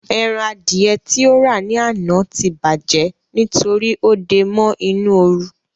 Eran Adìẹ tí ó rà ní àná tí bàjẹ́ nítorí ó dé e mọ́ inú oru